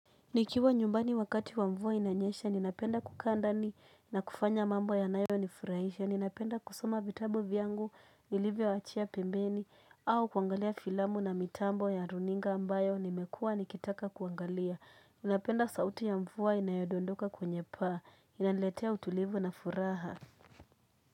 Nikiwa nyumbani wakati wa mvua inanyesha, ninapenda kukaa ndani na kufanya mambo yanayonifurahisha. Ninapenda kusoma vitabu vyangu nilivyoachia pembeni, au kuangalia filamu na mitambo ya runinga ambayo nimekuwa nikitaka kuangalia. Napenda sauti ya mvua inayodondoka kwenye paa, inaniletea utulivu na furaha.